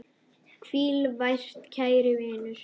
Hvíl vært, kæri vinur.